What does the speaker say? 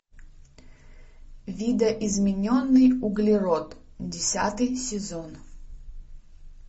видоизмененный углерод десятый сезон